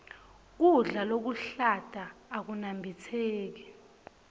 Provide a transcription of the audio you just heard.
kudla lokuhlata akunambitseki